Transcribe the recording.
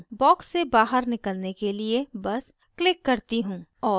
box से बाहर निकलने के लिए box क्लिक करती हूँ